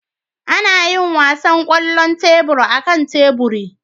Ana yin wasan kwallon tebur akan teburi